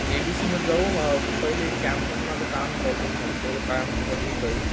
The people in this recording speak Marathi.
एबीसी मध्ये जाऊ पहिले कॅम्प मध्ये माझं काम आहे कॉलेज मधी तेवढं काम के एक एक